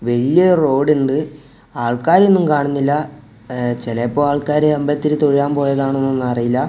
വല്യ റോഡ് ഇണ്ട് ആൾക്കാരെ ഒന്നും കാണുന്നില്ല ചെലപ്പോ ആൾക്കാര് അമ്പലത്തിൽ തൊഴാൻ പോയതാണോന്നൊന്നും അറിയില്ല.